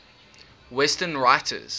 western writers